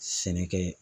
Sɛnɛkɛ